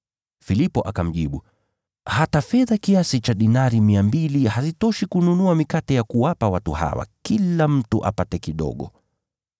Filipo akamjibu, “Hata fedha kiasi cha dinari mia mbili, hazitoshi kununua mikate ya kuwapa watu hawa ili kila mtu apate kidogo.”